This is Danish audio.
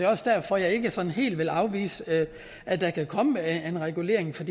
også derfor jeg ikke helt vil afvise at der kan komme en regulering for